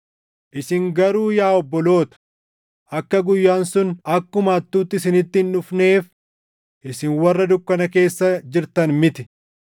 Isin garuu yaa obboloota, akka guyyaan sun akkuma hattuutti isinitti hin dhufneef isin warra dukkana keessa jirtan miti.